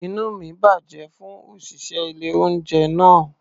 Inú mi bàjẹ́ fún òṣìṣẹ́ ilé-oúnjẹ náà.